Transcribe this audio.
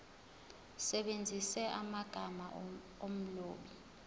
usebenzise amagama omlobi